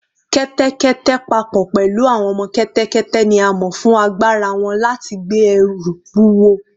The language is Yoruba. Kẹ́tẹ́kẹ́tẹ́, pa pọ̀ pẹ̀lú àwọn ọmọ kẹ́tẹ́kẹ́tẹ́, ni a mọ̀ fún agbára wọn láti gbé ẹrù wúwo